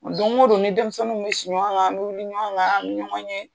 Don ko don ni denmisɛnniw bɛ si ɲɔgɔn kan, an bɛ wili ɲɔgɔn kan, an bɛ ɲɔgɔn ye